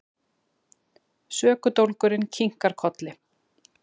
Sökudólgurinn kinkar kolli.